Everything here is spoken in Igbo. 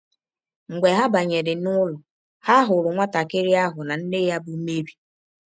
Mgbe ha banyere n’ụlọ, ha hụrụ nwatakịrị ahụ na nne ya bụ́ Meri. ”